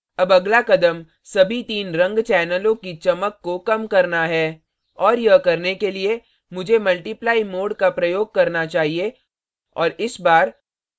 अब अगला कदम सभी तीन रंग चैनलों की चमक को कम करना है और यह करने के लिए मुझे multiply mode का प्रयोग करना चाहिए और इस बार